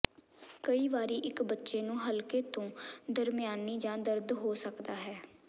ਕਈ ਵਾਰੀ ਇੱਕ ਬੱਚੇ ਨੂੰ ਹਲਕੇ ਤੋਂ ਦਰਮਿਆਨੀ ਜਾਂ ਦਰਦ ਹੋ ਸਕਦਾ ਹੈ